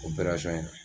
O